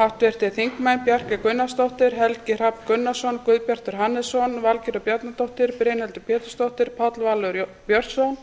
háttvirtir þingmenn bjarkey gunnarsdóttir helgi hrafn gunnarsson guðbjartur hannesson valgerður bjarnadóttir brynhildur pétursdóttir páll valur björnsson